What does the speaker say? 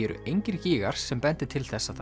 eru engir gígar sem bendir til að